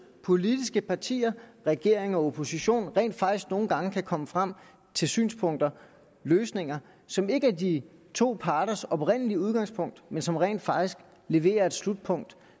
politiske partier regering og opposition rent faktisk nogle gange kan komme frem til synspunkter løsninger som ikke er de to parters oprindelige udgangspunkt men som rent faktisk leverer et slutpunkt